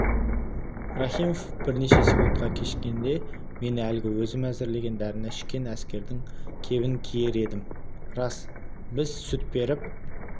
рахимов бірнеше секундқа кешіккенде мен әлгі өзім әзірлеген дәріні ішкен әскердің кебін киер едім рас біз сүт беріп